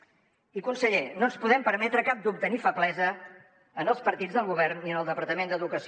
i conseller no ens podem permetre cap dubte ni feblesa en els partits del govern ni en el departament d’educació